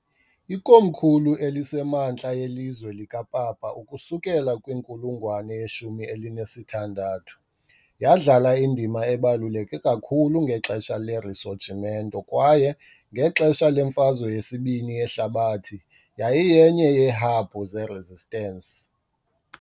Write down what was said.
Ikomkhulu eliseMantla yeLizwe likaPapa ukusukela kwinkulungwane yeshumi elinesithandathu , yadlala indima ebaluleke kakhulu ngexesha leRisorgimento kwaye, ngexesha leMfazwe yesibini yeHlabathi, yayiyenye yeehabhu zeResistance .